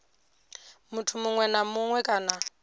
muthu muṅwe na muṅwe kana